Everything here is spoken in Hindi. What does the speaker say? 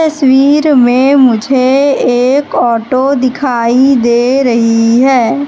तस्वीर में मुझे एक ऑटो दिखाई दे रही है।